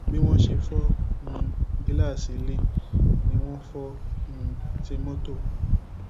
bí wọn ṣe fọ um gíláàsì ilé ni wọn fọ um ti mọtò